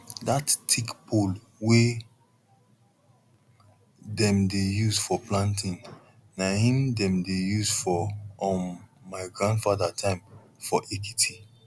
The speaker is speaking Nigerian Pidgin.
that thick pole wey dem dey use for planting na em dem dey use for um my grandfather time for ekiti